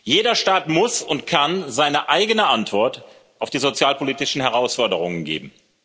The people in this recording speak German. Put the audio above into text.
Jeder Staat muss und kann seine eigene Antwort auf die sozialpolitischen Herausforderungen geben.